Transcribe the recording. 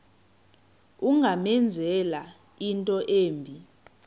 ungamenzela into embi